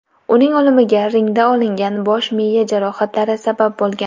Uning o‘limiga ringda olingan bosh-miya jarohatlari sabab bo‘lgan.